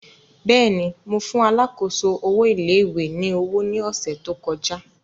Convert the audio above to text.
Bẹ́ẹ̀ni, Mo fun alákòóso owo ilé ìwé ni owo ni ọsẹ to kọja.